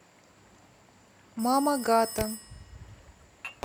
мама гата